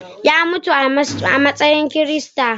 Ya mutu a matsayin Kirista